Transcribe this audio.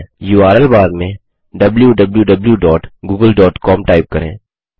URL bar में wwwgooglecom type करें